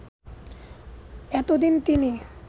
এতদিন তিনি